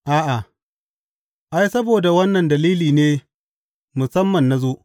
A’a, ai, saboda wannan dalili ne musamman na zo.